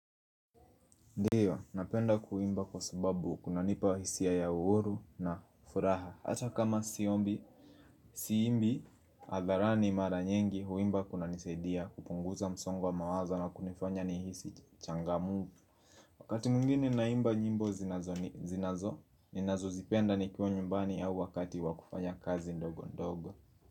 Ndiyo, napenda kuimba kwa sababu kuna nipa hisia ya uuru na furaha Hata kama siombi, siimbi, hadharani mara nyingi huimba kuna nisadia kupunguza msongo mawazo na kunifanya nihisi changamfu Wakati mwingine naimba nyimbo zinazo, ninazo zipenda nikua nyumbani au wakati wakufanya kazi ndogo ndogo.